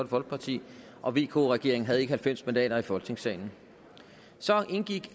folkeparti og vk regeringen havde ikke halvfems mandater i folketingssalen så indgik